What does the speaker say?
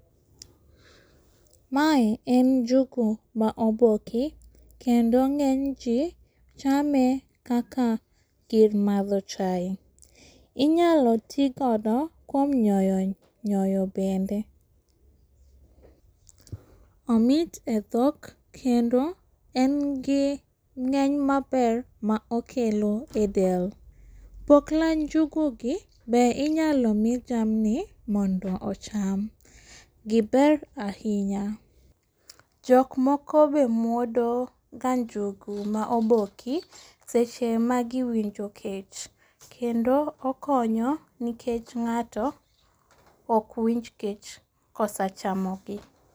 Mae en njugu maoboki, kendo ng'eny ji chame kaka gir madho chai. Inyalo tii godo kuom nyoyo bende. Omit e dhok, kendo en gi ng'eny maber maokelo e del. Pokla njugugi be inyalo mi jamni mondo ocham, giber ahinya. Jokmoko be muodoga njugu maoboki seche magiwinjo kech, kendo okonyo nikech ng'ato okwinj kech kosechamogi.